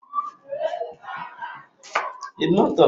E jidere ụmụ nwoke niile maka imebi ihe ụnyahụ.